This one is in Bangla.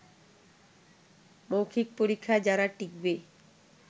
মৌখিক পরীক্ষায় যারা টিকবে